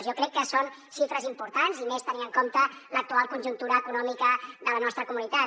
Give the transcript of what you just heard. jo crec que són xifres importants i més tenint en compte l’actual conjuntura econòmica de la nostra comunitat